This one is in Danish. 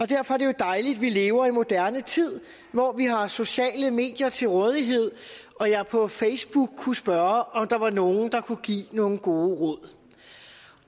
derfor er det jo dejligt at vi lever i en moderne tid hvor vi har sociale medier til rådighed og jeg på facebook kunne spørge om der var nogle der kunne give nogle gode råd